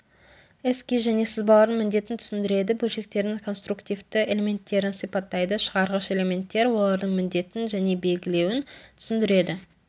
эскиз және сызбалардың міндетін түсіндіреді бөлшектердің конструктивті элементтерін сипаттайды шығарғыш элементтер олардың міндетін және белгілеуін түсіндіреді